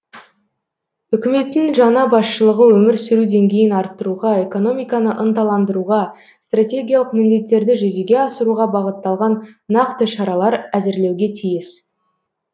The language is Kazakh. үкіметтің жаңа басшылығы өмір сүру деңгейін арттыруға экономиканы ынталандыруға стратегиялық міндеттерді жүзеге асыруға бағытталған нақты шаралар әзірлеуге тиіс